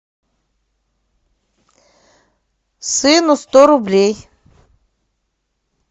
сыну сто рублей